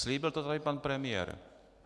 Slíbil to tady pan premiér.